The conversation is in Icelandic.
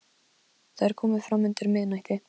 Það er komið fram undir miðnætti.